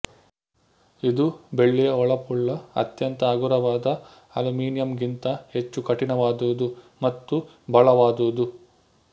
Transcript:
ಇದು ಬೆಳ್ಳಿಯ ಹೊಳಪುಳ್ಳ ಅತ್ಯಂತ ಹಗುರವಾದ ಅಲ್ಯುಮಿನಿಯಮ್ ಗಿಂತ ಹೆಚ್ಚು ಕಠಿಣವಾದುದು ಮತ್ತು ಬಲವಾದುದು